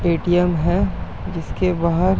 ATM है जिसके बाहर --